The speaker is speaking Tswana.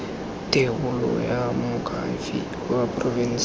thebolo ya moakhaefe wa porofense